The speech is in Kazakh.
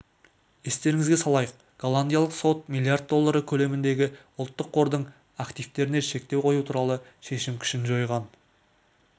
естеріңізге салайық голландиялық сот миллиард доллары көлеміндегі ұлттық қордың активетеріне шектеу қою туралы шешім күшін жойған